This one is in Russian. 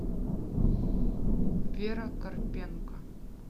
вера карпенко